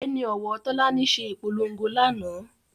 Ẹni òwò Tólání se ìpolongo lánàá